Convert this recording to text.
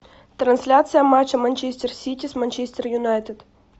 трансляция матча манчестер сити с манчестер юнайтед